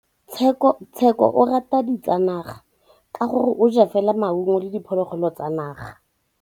Tshekô o rata ditsanaga ka gore o ja fela maungo le diphologolo tsa naga.